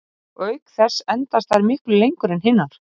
Og auk þess endast þær miklu lengur en hinar.